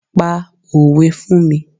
Pa òwe fún mi.